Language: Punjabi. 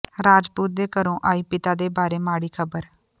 ਰਾਜਪੂਤ ਦੇ ਘਰੋਂ ਆਈ ਪਿਤਾ ਦੇ ਬਾਰੇ ਮਾੜੀ ਖਬਰ